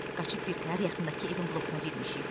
Qaçıb birtəhər yaxındakı evin blokuna girmişik.